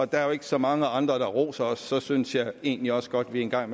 der er jo ikke så mange andre der roser os og derfor synes jeg egentlig også godt at vi en gang